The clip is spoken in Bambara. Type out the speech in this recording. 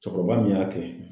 Cɛkɔrɔba min y'a kɛ.